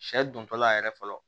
Sɛ dontɔla yɛrɛ fɔlɔ